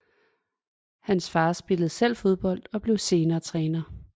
Hans far spillede selv fodbold og blev senere træner